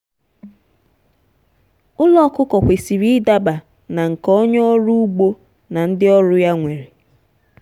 ụlọ ọkụkọ kwesịrị ịdaba na nke onye ọrụ ugbo na ndị ọrụ ya nwere.